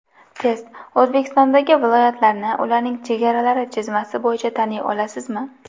Test: O‘zbekistondagi viloyatlarni ularning chegaralari chizmasi bo‘yicha taniy olasizmi?.